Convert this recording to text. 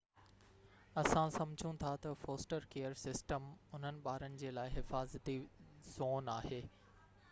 اسان سمجهون ٿا تہ فوسٽر ڪيئر سسٽم انهن ٻارن جي لاءِ حفاظتي زون آهي